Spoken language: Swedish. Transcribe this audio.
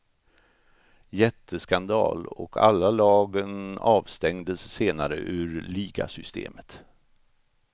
Jätteskandal, och alla lagen avstängdes senare ur ligasystemet.